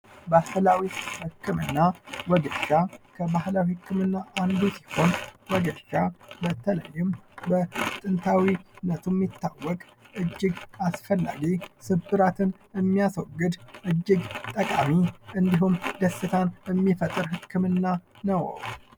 ባህላዊ ህክምና፦ ወጌሻ ከባህላዊ ህክምና አንዱ ሲሆን ወጌሻ በተለይም በጥንታዊነቱ የሚታወቅ እጅግ አስፈላጊ ስብራትን የሚያስወግድ እጅግ ጠቃሚ እንድሁም ደስታን የሚፈጥር ህክምና ነው።